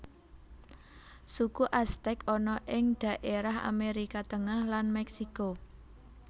Suku Aztek ana ing dhaérah Amérika Tengah lan Mèksiko